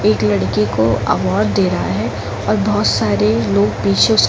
एक लड़की को अवार्ड दे रहा है और बोहोत सारे लोग पीछे उस --